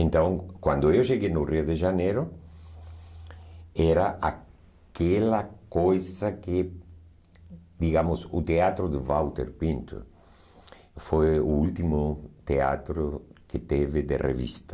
Então, quando eu cheguei no Rio de Janeiro, era aquela coisa que, digamos, o teatro do Walter Pinto foi o último teatro que teve de revista.